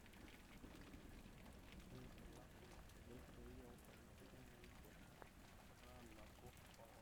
ore ilbulabul lentoi onkonyek na kindim ata nabo okuna.